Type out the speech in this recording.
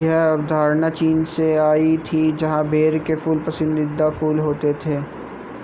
यह अवधारणा चीन से आई थी जहां बेर के फूल पसंदीदा फूल होते थे